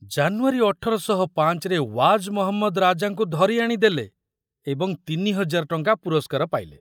ଜାନୁୟାରୀ ଅଠର ଶହ ପାଞ୍ଚ ମସିହାରେ ୱାଜ ମହମ୍ମଦ ରାଜାଙ୍କୁ ଧରି ଆଣିଦେଲେ ଏବଂ ତିନି ହଜାର ଟଙ୍କା ପୁରସ୍କାର ପାଇଲେ।